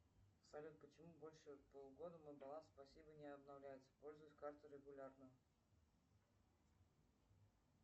салют почему больше полугода мой баланс спасибо не обновляется пользуюсь картой регулярно